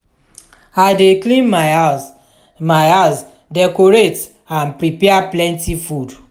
i dey clean my house my house decorate and prepare plenty food.